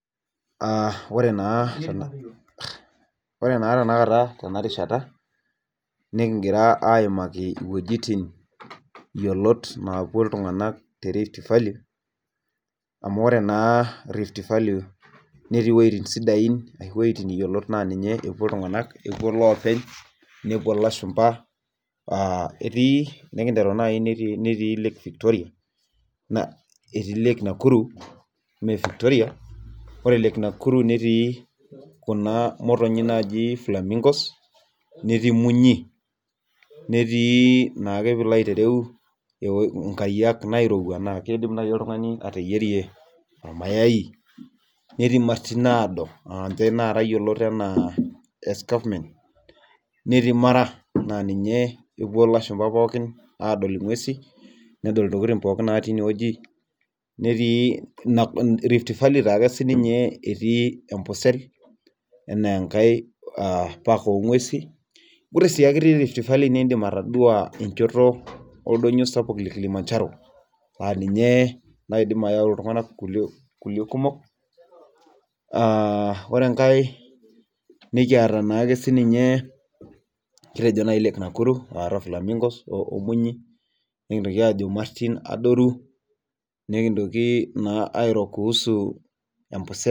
Aa ore naa tenakata tena rishata nikigira aaimaki iwuejitin yiolot naapuo iltunganak te rift valley. amu ore naa rift valley netii wuejitin sidain, wuejitin yiolot ninye epuo iltunganak epuo loopeny, nepuo lashumpa. etij nikinteru naji lake Victoria, etii lake nakuru. ore lake Nakuru netii Kuna motonnyi naaji flamingos netii munyi. netii nkariak naairowua naa kidim naaji oltungani ateyierie mayai netii imartin naado naayioloi anaa escarpment .neti mara naa ninye epuo lashumpa adol ntokitin natii ine wueji netii rift valley taa ake sii ninye etii empusel. anaa enkae park nguesin. idim atodua enchoto oldoinyio sapuk le Kilimanjaro aa ninye oyau Iiltunganak kulie kumok.